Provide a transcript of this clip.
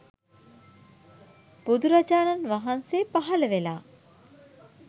බුදුරජාණන් වහන්සේ පහළ වෙලා